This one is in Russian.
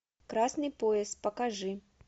красный пояс покажи